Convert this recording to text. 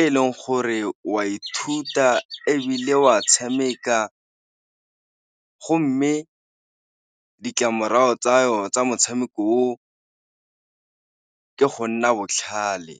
e leng gore wa ithuta, ebile wa tshameka go mme ditlamorago tsa motshameko o ke go nna botlhale.